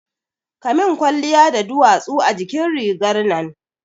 Kamin kwalliya da duwatsu a jikin rigar nan